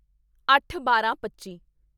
ਅੱਠਬਾਰਾਂਪੱਚੀ